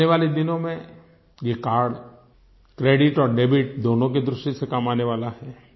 आने वाले दिनों में ये कार्ड क्रेडिट और डेबिट दोनों की दृष्टि से काम आने वाला है